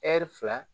fila